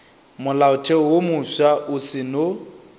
molaotheo wo mofsa o seno